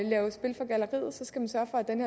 den